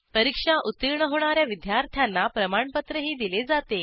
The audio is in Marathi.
परीक्षा उत्तीर्ण होणा या विद्यार्थ्यांना प्रमाणपत्रही दिले जाते